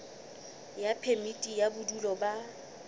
ya phemiti ya bodulo ba